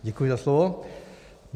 Děkuji za slovo.